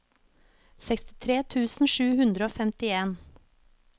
sekstitre tusen sju hundre og femtien